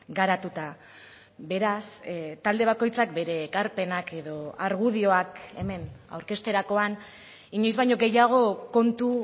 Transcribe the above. garatuta beraz talde bakoitzak bere ekarpenak edo argudioak hemen aurkezterakoan inoiz baino gehiago kontu